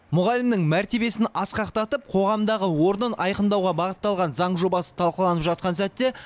мұғалімнің мәртебесін асқақтатып қоғамдағы орнын айқындауға бағытталған заң жобасы талқыланып жатқан сәтте